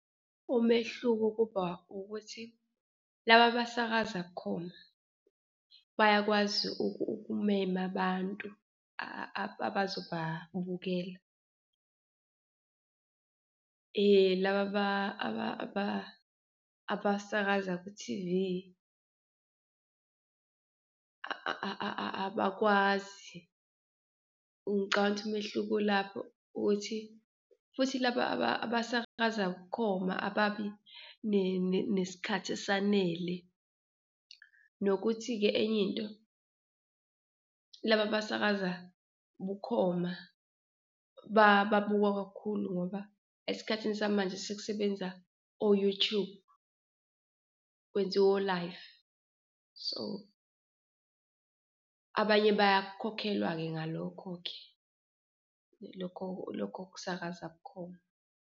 Umehluko kuba ukuthi laba abasakaza bukhoma bayakwazi ukumema abantu abazobabukela, laba abasakaza ku-T_V abakwazi. Ngicabanga ukuthi umehluko ulapho, ukuthi futhi laba abasakaza bukhoma ababi nesikhathi esanele. Nokuthi-ke enye into laba abasakaza bukhoma babukwa kakhulu ngoba esikhathini samanje sekusebenza o-YouTube kwenziwa o-live so abanye bayakhokhelwa-ke ngalokho-ke, lokho lokho kusakaza bukhoma.